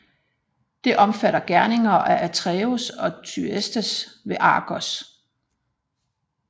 Det omfatter gerninger af Atreus og Thyestes ved Argos